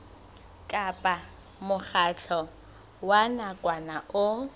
kapa mokgatlo wa nakwana o